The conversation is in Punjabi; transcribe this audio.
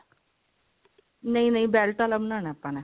ਨਹੀਂ ਨਹੀਂ belt ਆਲਾ ਬਣਾਉਣਾ ਆਪਾਂ ਨੇ